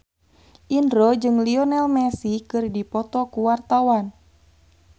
Indro jeung Lionel Messi keur dipoto ku wartawan